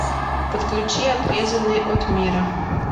подключи отрезанный от мира